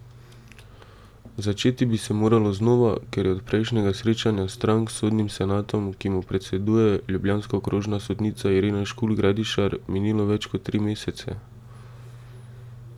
Začeti bi se moralo znova, ker je od prejšnjega srečanja strank s sodnim senatom, ki mu predseduje ljubljanska okrožna sodnica Irena Škulj Gradišar, minilo več kot tri mesece.